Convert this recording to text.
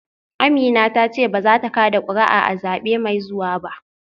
Amina ta ce ba za ta kada kuri’a a zabe mai zuwa ba